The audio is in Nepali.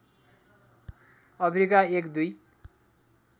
अफ्रिका एक दुई